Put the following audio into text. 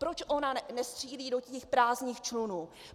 Proč ona nestřílí do těch prázdných člunů?